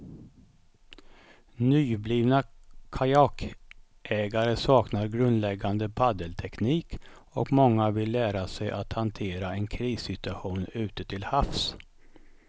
Nyblivna kajakägare saknar grundläggande paddelteknik och många vill lära sig att hantera en krissituation ute till havs.